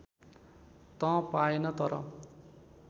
त पाएन तर